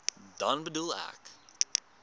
dan bedoel ek